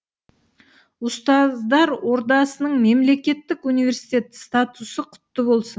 ұстаздар ордасының мемлекеттік университет статусы құтты болсын